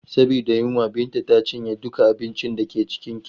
Saboda yunwa, Binta ta cinye duka abincin da ke kicin.